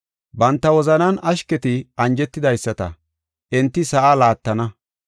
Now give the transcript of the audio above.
Banta wozanan ashketi anjetidaysata, enti sa7aa laattana.